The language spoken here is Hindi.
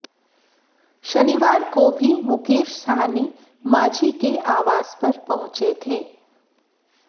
शनिवार को भी मुकेश सहनी मांझी के आवास पर पहुंचे थे